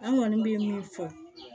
An kɔni bɛ min fɔ